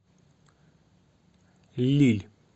лилль